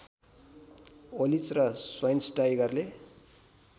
ओलिच र स्वाइनस्टाइगरले